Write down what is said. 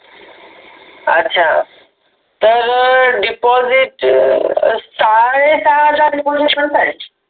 अच्छा तर deposit अ साडे सहा हजार deposit मनत आहेत.